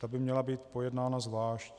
Ta by měla být pojednána zvlášť.